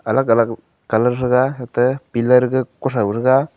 alag alag colour thaga atte pillar gaga kuthau thaga.